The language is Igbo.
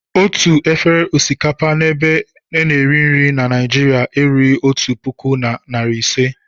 Otu efere osikapa n'ebe a na-eri nri Naịjiria erughị otu puku na narị ise.